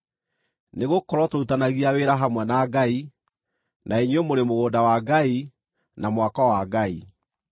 Nĩgũkorwo tũrutithanagia wĩra hamwe na Ngai; na inyuĩ mũrĩ mũgũnda wa Ngai, na mwako wa Ngai.